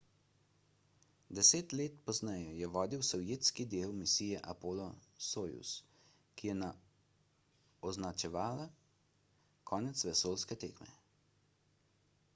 deset let pozneje je vodil sovjetski del misije apollo-soyuz ki je označevala konec vesoljske tekme